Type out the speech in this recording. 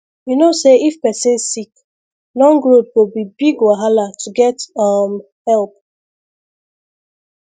you know say if person sick long road go be big wahala to get um help